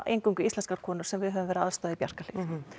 eingöngu íslenskar konur sem við höfum verið að aðstoða í Bjarkarhlíð